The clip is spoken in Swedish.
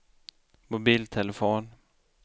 mobiltelefon